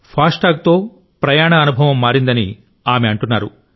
fast ట్యాగ్తో ప్రయాణ అనుభవం మారిందని ఆమె అంటున్నారు